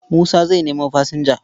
Musa zai nemo fasinja.